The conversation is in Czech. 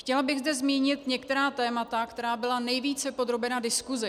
Chtěla bych zde zmínit některá témata, která byla nejvíce podrobena diskusi.